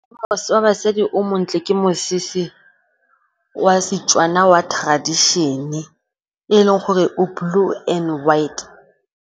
Wa basadi o montle ke mosese wa Setswana wa tradition-e, e leng gore o blue and white.